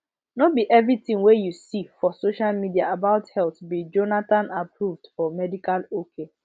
no be everything wey you see for social media about health be jonathanapproved or medical ok